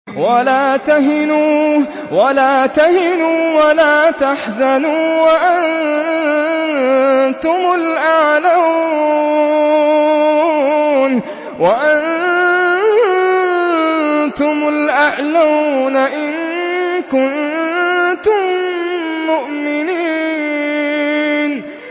وَلَا تَهِنُوا وَلَا تَحْزَنُوا وَأَنتُمُ الْأَعْلَوْنَ إِن كُنتُم مُّؤْمِنِينَ